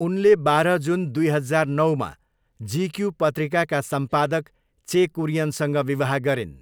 उनी बाह्र जुन दुई हजार नौमा जिक्यू पत्रिकाका सम्पादक चे कुरियनसँग विवाह गरिन्।